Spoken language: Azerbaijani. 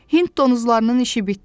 Hind donuzlarının işi bitdi.